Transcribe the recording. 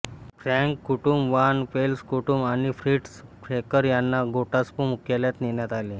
Frank कुटुंब van Pels कुटुंब आणि फ्रिट्झ फेफर यांना गेस्टापो मुख्यालयात नेण्यात आले